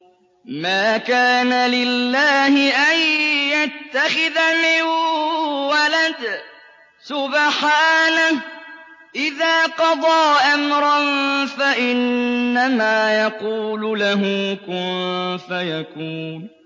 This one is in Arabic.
مَا كَانَ لِلَّهِ أَن يَتَّخِذَ مِن وَلَدٍ ۖ سُبْحَانَهُ ۚ إِذَا قَضَىٰ أَمْرًا فَإِنَّمَا يَقُولُ لَهُ كُن فَيَكُونُ